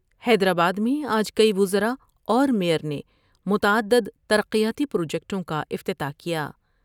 حیدرآباد میں آج کئی وزرا اور میئر نے متعددتر قیاتی پروجیکٹوں کا افتتاح کیا ۔